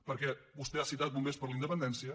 perquè vostè ha citat bombers per la independència